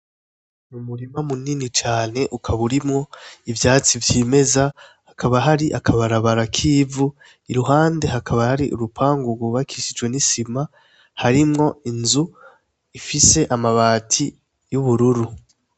Umurima munini cane, ukaba urimwo ivyatsi vyimeza, hakaba hari akabarabara kivu, iruhande hakaba hari urupango rwubakishijwe nisima, harimwo inzu ifise amabati yubururu.